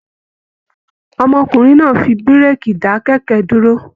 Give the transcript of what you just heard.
Ọmọkùnrin náà fí bureki dá kẹkẹ dúró.